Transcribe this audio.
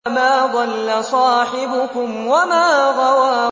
مَا ضَلَّ صَاحِبُكُمْ وَمَا غَوَىٰ